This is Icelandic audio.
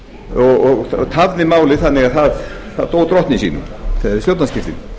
og tafði málið þannig að það dó drottni sínum við stjórnarskiptin